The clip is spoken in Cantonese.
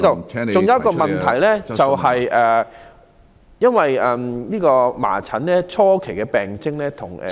還有一個問題，因為麻疹的初期病徵與......